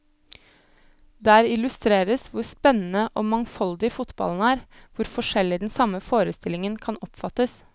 Der illustreres hvor spennende og mangfoldig fotballen er, hvor forskjellig den samme forestillingen kan oppfattes.